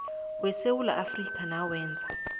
yesewula afrika nawenza